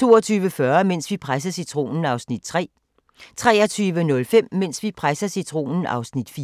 22:40: Mens vi presser citronen (3:5) 23:05: Mens vi presser citronen (4:5)